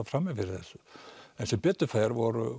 frammi fyrir þessu en sem betur fer voru